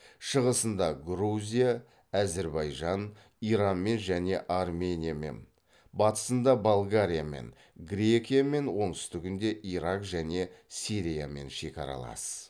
шығысында грузия әзірбайжан иранмен және армениямен батысында болгариямен грекиямен оңтүстігінде ирак және сириямен шекаралас